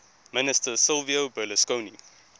minister silvio berlusconi